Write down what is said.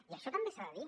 i això també s’ha de dir